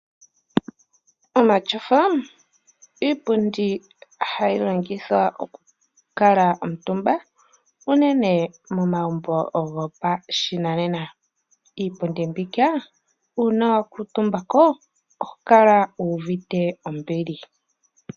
Omatyofa iipundi hayi longithwa okukala omutumba unene momagumbo gopashinanena. Iipundi mbika uuna wa kuutumba ko oho kala wu uvite ombili.